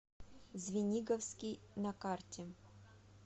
звениговский на карте